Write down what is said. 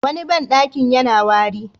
Wani banɗaki yana wari.